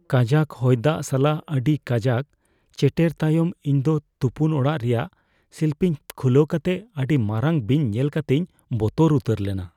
ᱠᱟᱡᱟᱠ ᱦᱚᱭᱫᱟᱜ ᱥᱟᱞᱟᱜ ᱟᱹᱰᱤ ᱠᱟᱡᱟᱠ ᱪᱮᱴᱮᱨ ᱛᱟᱭᱚᱢ ᱤᱧᱫᱚ ᱛᱩᱯᱩᱱ ᱚᱲᱟᱜ ᱨᱮᱭᱟᱜ ᱥᱤᱞᱯᱤᱧ ᱠᱷᱩᱞᱟᱹᱣ ᱠᱟᱛᱮ ᱚᱸᱰᱮ ᱢᱟᱨᱟᱝ ᱵᱤᱧ ᱧᱮᱞ ᱠᱟᱛᱤᱧ ᱵᱚᱛᱚᱨ ᱩᱛᱟᱹᱨ ᱮᱱᱟ ᱾